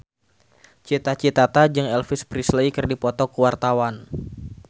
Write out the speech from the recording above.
Cita Citata jeung Elvis Presley keur dipoto ku wartawan